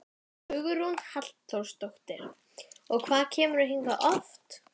Hugrún Halldórsdóttir: Og hvað kemurðu hingað oft?